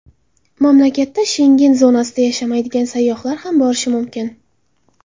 Mamlakatda Shengen zonasida yashamaydigan sayyohlar ham borishi mumkin.